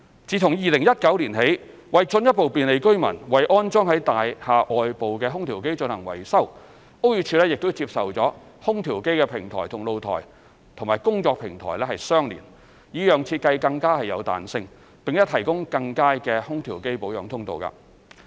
自2019年起，為進一步便利居民為安裝於大廈外部的空調機進行維修，屋宇署接受空調機平台與露台及/或工作平台相連，以讓設計更有彈性，並提供更佳的空調機保養通道。